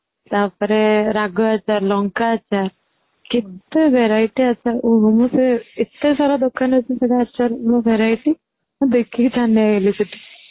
ତାପରେ ରାଗ ଆଚାର, ଲଙ୍କା ଆଚର କେତେ verity ଆଚାର ଓହୋ ମୁଁ ସେ ଏତେ ସାରା ଦୋକାନ ଅଛି ସେଠି new verity ମୁଁ ଦେଖିକି ଛାନିଆ ହେଇଗଲି